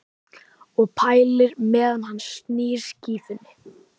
Og pælir meðan hann snýr skífunni.